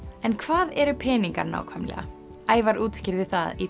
en hvað eru peningar nákvæmlega Ævar útskýrði það í